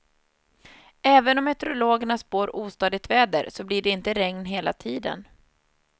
Även om meteorologerna spår ostadigt väder, så blir det inte regn hela tiden.